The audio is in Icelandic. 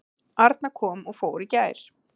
Arna kom og fór í gær.